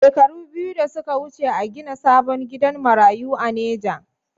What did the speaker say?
Shekaru biyu da suka wuce a gina sabon gidan marayu a neja